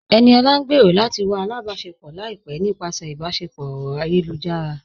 Ẹniọla ń gbẹ́rọ̀ lati wà àlàbáṣẹpọ̀ laipẹ̀ nípasẹ̀ ìbáṣẹpọ̀ ọ̀rọ̀ ayélujára.